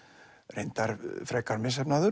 reyndar frekar misheppnaður